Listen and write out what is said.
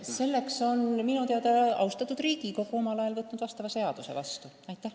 Selle kohta on austatud Riigikogu minu teada omal ajal seaduse vastu võtnud.